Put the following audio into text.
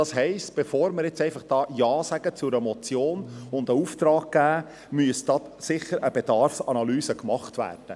Das heisst: Bevor wir zu einer Motion einfach Ja sagen und einen Auftrag erteilen, müsste da sicher eine Bedarfsanalyse gemacht werden.